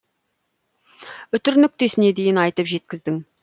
үтір нүктесіне дейін айтып жеткіздің